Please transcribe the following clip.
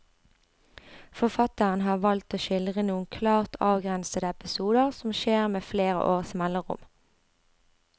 Forfatteren har valgt å skildre noen klart avgrensede episoder som skjer med flere års mellomrom.